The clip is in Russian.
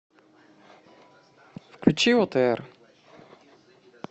включи отр